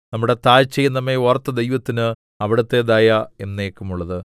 നമ്മുടെ താഴ്ചയിൽ നമ്മെ ഓർത്ത ദൈവത്തിന് അവിടുത്തെ ദയ എന്നേക്കുമുള്ളത്